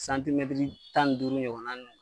tan ni duuru ɲɔgɔnna